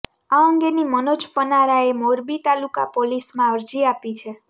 આ અંગેની મનોજ પનારાએ મોરબી તાલુકા પોલીસમાં અરજી આપી છે